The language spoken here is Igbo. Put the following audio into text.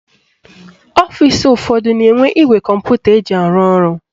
Ọfisi ụfọdụ na-enwe igwe kọmputa eji arụ ọrụ.